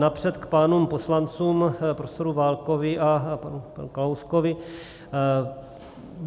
Napřed k pánům poslancům, profesoru Válkovi a panu Kalouskovi.